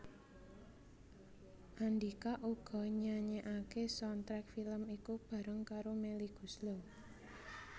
Andhika uga nyanyèkaké soundtrack film iku bareng karo Melly Goeslaw